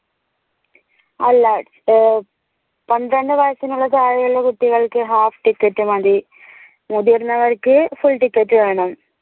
അല്ല ഏർ പന്ത്രണ്ടു വയസിനുള്ള താഴെയുള്ള കുട്ടികൾക്ക് half ticket മതി മുതിർന്നവർക്ക് full ticket വേണം